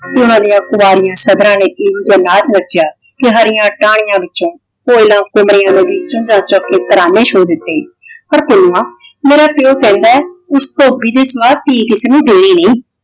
ਤੇ ਉਹਨਾਂ ਦੀਆ ਕੁਆਰੀਆਂ ਸੱਧਰਾਂ ਨੇ ਇਹੋ ਜਾ ਨਾਚ ਨੱਚਿਆ ਕਿ ਹਰੀਆਂ ਟਾਹਣੀਆਂ ਵਿੱਚੋ ਕੋਇਲਾਂ ਕੁਮਰੀਆ ਨੇ ਭੀ ਚੁੰਝ ਚੱਕ ਕੇ ਤਰਾਨੇ ਛੋ ਦਿੱਤੇ ਪਰ ਪੁੰਨੂੰਆਂ ਮੇਰਾ ਪਿਉ ਕਹਿੰਦਾ ਉਸ ਤੋਂ ਬਿਨ੍ਹਾਂ ਮੈਂ ਧੀ ਕਿਸੇ ਨੂੰ ਦੇਣੀ ਨਹੀਂ।